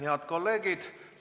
Head kolleegid!